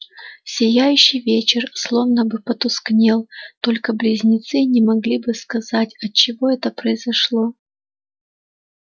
сияющий вечер словно бы потускнел только близнецы не могли бы сказать отчего это произошло